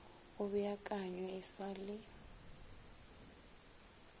go beakanywe e sa le